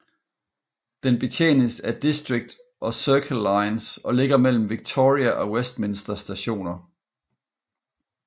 Den betjenes af District og Circle lines og ligger mellem Victoria og Westminster Stationer